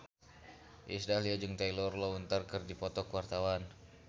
Iis Dahlia jeung Taylor Lautner keur dipoto ku wartawan